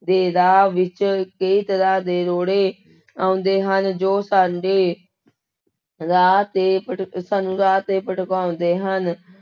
ਦੇ ਰਾਹ ਵਿੱਚ ਕਈ ਤਰ੍ਹਾਂ ਦੇ ਰੋੜੇ ਆਉਂਦੇ ਹਨ, ਜੋ ਸਾਡੇ ਰਾਹ ਤੇ ਭਟਕ ਸਾਨੂੰ ਰਾਹ ਤੇ ਭਟਕਾਉਂਦੇ ਹਨ।